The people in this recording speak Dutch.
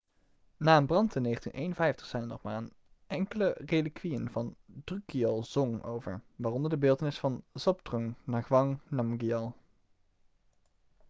na een brand in 1951 zijn er nog maar enkele relikwieën van drukgyal dzong over waaronder de beeltenis van zhabdrung ngawang namgyal